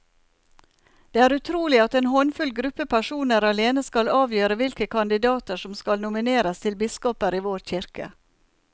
Det er utrolig at en håndfull gruppe personer alene skal avgjøre hvilke kandidater som skal nomineres til biskoper i vår kirke.